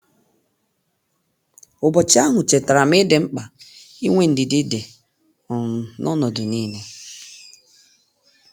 Ụbọchị ahụ chetara m ịdịmkpa inwe ndidi dị um n'ọnọdụ niile